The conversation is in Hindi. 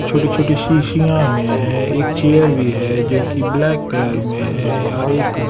छोटी-छोटी शीशियाँ में है एक चेयर भी है जो कि ब्लैक कलर में है और एक--